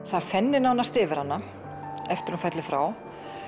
það fennir nánast yfir hana eftir að hún fellur frá